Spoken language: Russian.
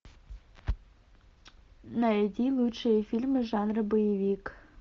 найди лучшие фильмы жанра боевик